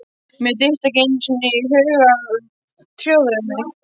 Mér dytti ekki einu sinni í hug að tjóðra mig.